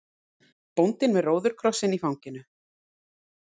Bóndinn með róðukrossinn í fanginu.